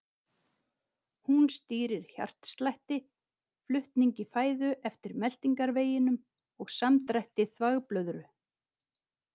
Hún stýrir hjartslætti, flutningi fæðu eftir meltingarveginum og samdrætti þvagblöðru.